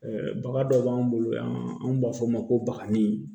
baga dɔ b'an bolo yan anw b'a f'o ma ko bakani